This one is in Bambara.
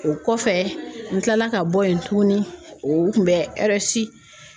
O kɔfɛ n kilala ka bɔ yen tuguni u kun bɛ